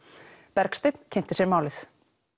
Bergsteinn kynnti sér málið